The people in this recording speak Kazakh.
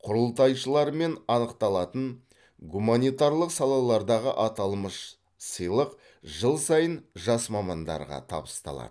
құрылтайшылармен анықталатын гуманитарлық салалардағы аталмыш сыйлық жыл сайын жас мамандарға табысталады